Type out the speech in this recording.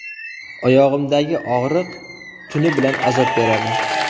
Oyog‘imdagi og‘riq tuni bilan azob beradi.